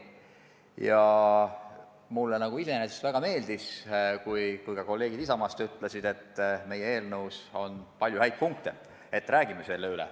Ja mulle iseenesest väga meeldis, kui ka kolleegid Isamaast ütlesid, et meie eelnõus on palju häid punkte, et räägime selle kõik üle.